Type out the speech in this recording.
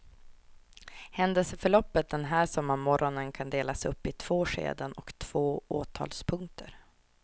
Händelseförloppet den här sommarmorgonen kan delas upp i två skeden och två åtalspunkter.